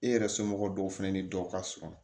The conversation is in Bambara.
E yɛrɛ somɔgɔw dɔw fana ni dɔw ka surun